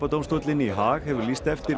alþjóðaglæpadómstóllinn í Haag hefur lýst eftir